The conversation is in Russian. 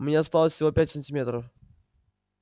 мне осталось всего пять сантиметров